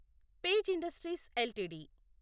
page Industries LTD